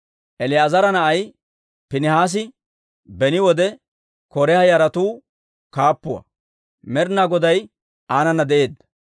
El"aazara na'ay Piinihaasi beni wode K'oraaha yaratuu kaappuwaa; Med'inaa Goday aanana de'eedda.